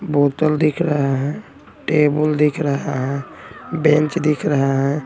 बोतल दिख रहा हैं टेबल दिख रहा बेंच दिख रहा हैं।